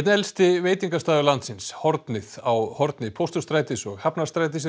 einn elsti veitingastaður landsins hornið á horni Pósthússtrætis og Hafnarstrætis